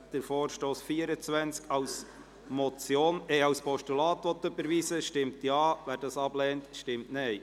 Wer diesen Vorstoss als Postulat überweisen will, stimmt Ja, wer dies ablehnt, stimmt Nein.